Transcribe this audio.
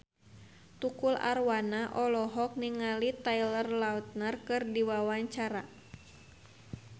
Tukul Arwana olohok ningali Taylor Lautner keur diwawancara